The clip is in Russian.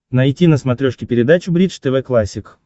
найти на смотрешке передачу бридж тв классик